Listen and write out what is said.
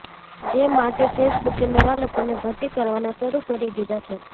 જે માટે ફેસબુકે નવા લોકોને ભરતી કરવાના શરૂ કરી દીધા છે